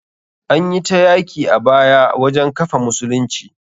Anyi ta yaki a baya wajen kafa musulunci.